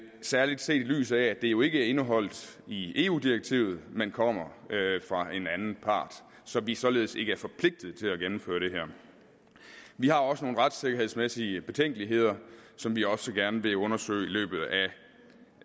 særlig set i lyset af at det jo ikke er indeholdt i eu direktivet men kommer fra en anden part så vi således ikke er forpligtet til at gennemføre det vi har også nogle retssikkerhedsmæssige betænkeligheder som vi også gerne vil undersøge i løbet